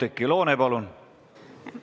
Oudekki Loone, palun!